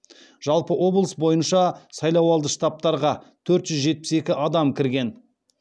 жалпы облыс бойынша сайлауалды штабтарға төрт жүз жетпіс екі адам кірген